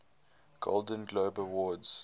golden globe awards